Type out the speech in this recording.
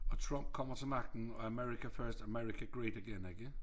Og Trump kommer til magten og America first America great again ikke